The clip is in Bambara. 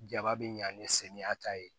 Jaba bɛ ɲa ni samiya ta ye